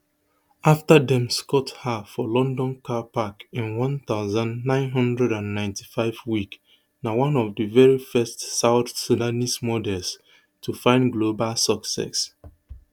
afta dem scout her for london car park in one thousand, nine hundred and ninety-five wek na one of di veri first south sudanese models to find global success